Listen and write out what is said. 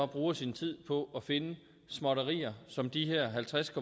bruger sin tid på at finde småtterier som de her halvtreds